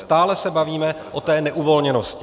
Stále se bavíme o té neuvolněnosti.